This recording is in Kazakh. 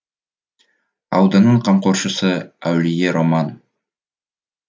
ауданның қамқоршысы әулие роман